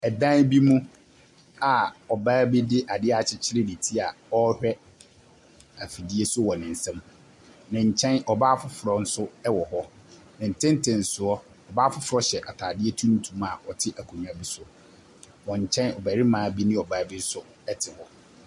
Ɛdan bi mu a ɔbaa bi de adeɛ akyekyere ne ti a ɔrehwɛ afidie so wɔ ne nsem. Nenkyɛn ɔbaa foforɔ nso wɔ hɔ. Ne tentensoɔ ɔbaa foforɔ hyɛ ataadeɛ tuntum a ɔte akonwa bi so. Wɔn kyɛn ɔbarima bi ne ɔbaa bi nso ɛte hɔ.